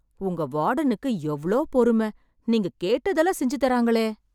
உங்க வாடனுக்கு எவ்ளோ பொறும... நீங்க கேட்டதெல்லாம் செஞ்சு தர்றாங்களே...